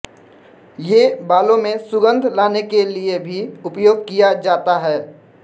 ये बालों में सुगंध लाने के लिये भी उपयोग किया जाता है